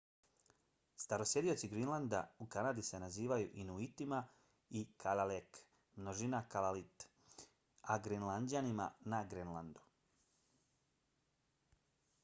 starosjedioci grenlanda u kanadi se nazivaju se inuitima i kalaalleq množina kalaallit a grenlanđanima na grenlandu